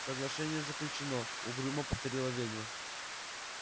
соглашение заключено угрюмо повторила ведьма